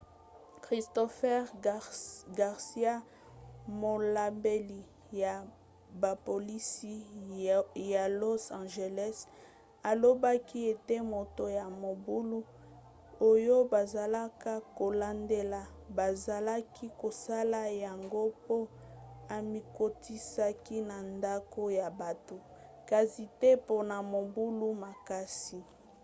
christopher garcia molobeli ya bapolisi ya los angeles alobaki ete moto ya mobulu oyo bazalaka kolandela bazalaki kosala yango po amikotisaki na ndako ya bato kasi te mpona mobulu makasi